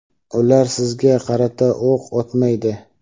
ular sizga qarata o‘q otmaydi!.